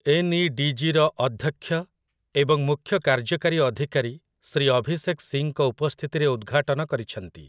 ଏନ୍‌.ଇ.ଡି.ଜି.ର ଅଧ୍ୟକ୍ଷ ଏବଂ ମୁଖ୍ୟ କାର୍ଯ୍ୟକାରୀ ଅଧିକାରୀ ଶ୍ରୀ ଅଭିଷେକ୍ ସିଂଙ୍କ ଉପସ୍ଥିତିରେ ଉଦ୍‌ଘାଟନ କରିଛନ୍ତି ।